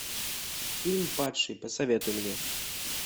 фильм падший посоветуй мне